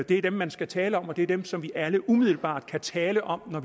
det er dem man skal tale om og det er dem som vi alle umiddelbart kan tale om når